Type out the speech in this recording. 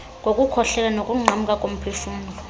ngokukhohlela nokunqamka komphefumlo